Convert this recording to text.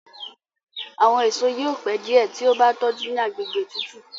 Àwọn èso yóò pẹ diẹ tí o bá tójú ní àgbègbè tútù.